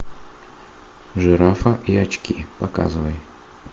жирафа и очки показывай